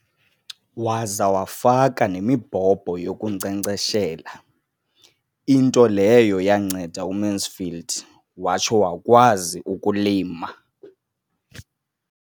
Waza wafaka nemibhobho yokunkcenkceshela, into leyo yanceda uMansfield watsho wakwazi ukulima.